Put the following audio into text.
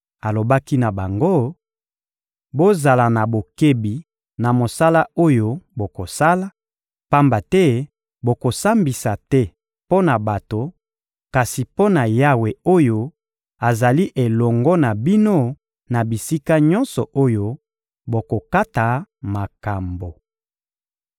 Alobaki na bango: «Bozala na bokebi na mosala oyo bokosala, pamba te bokosambisa te mpo na bato, kasi mpo na Yawe oyo azali elongo na bino na bisika nyonso oyo bokokata makambo.